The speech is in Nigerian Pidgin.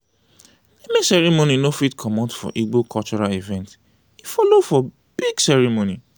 naming ceremony no fit comot for igbo cultural event e follow for big ceremony.